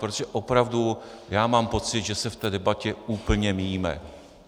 Protože opravdu já mám pocit, že se v té debatě úplně míjíme.